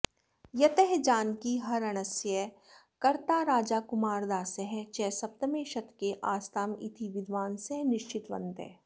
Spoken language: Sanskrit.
यतः जानकीहरणस्य कर्ता राजाकुमारदासः च सप्तमे शतके आस्ताम् इति विद्वांसः निश्चितवन्तः